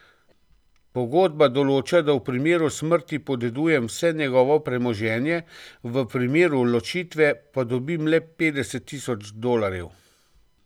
Pogodba določa, da v primeru smrti podedujem vse njegovo premoženje, v primeru ločitve pa dobim le petdeset tisoč dolarjev.